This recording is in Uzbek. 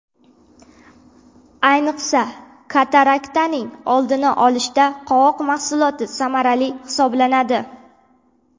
Ayniqsa, kataraktaning oldini olishda qovoq mahsuloti samarali hisoblanadi.